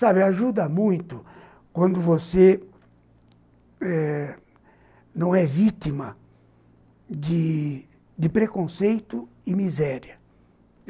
Sabe, ajuda muito quando você não é vítima de preconceito e miséria.